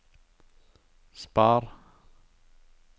spar